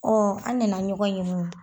an nana ɲɔgɔn ɲinika